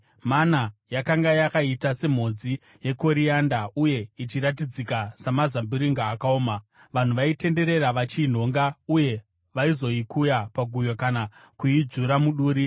Mana yakanga yakaita semhodzi yekorianda uye ichiratidzika samazambiringa akaoma. Vanhu vaitenderera vachiinhonga, uye, vaizoikuya paguyo kana kuidzvura muduri.